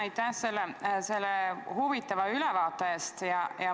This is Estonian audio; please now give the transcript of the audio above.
Aitäh selle huvitava ülevaate eest!